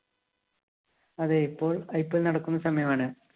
അതേ, ഇപ്പോള്‍ IPL നടക്കുന്ന സമയമാണ്.